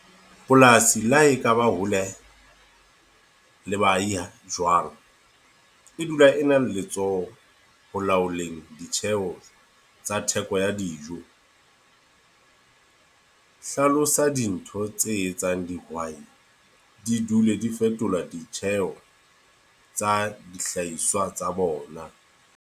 Polasi le ha e ka ba hole le baahiya jwang. E dula e na le letsoho ho laholeheng ditjheho tsa theko ya dijo. Hlalosa dintho tse etsang dihwai di dule di fetolwa ditjheho, tsa dihlahiswa tsa bona.